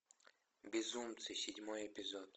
безумцы седьмой эпизод